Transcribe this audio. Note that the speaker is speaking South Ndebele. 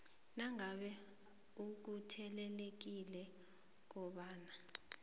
nangabe ukatelelekile kobana